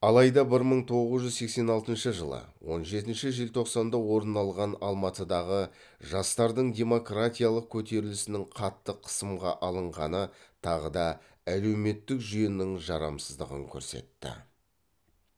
алайда бір мың тоғыз жүз сексен алтыншы жылы он жетінші желтоқсанда орын алған алматыдағы жастардың демократиялық көтерілісінің қатты қысымға алынғаны тағы да әлеуметтік жүйенің жарамсыздығын көрсетті